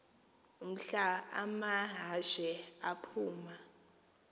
mhla amahashe aphuma